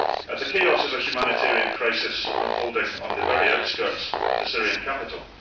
The chaos is a humanitarian crisis unfolding on the very outskirts of the Syrian capital.